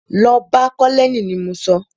Lọ bá colonel ni mo sọ!